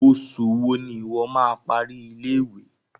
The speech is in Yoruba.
Oṣù wo ni ìwo má a parí ilé-ìwé?